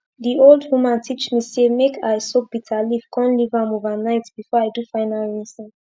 d old woman teach me say make i soak bitter leaf kon leave am over night before i do final rinsing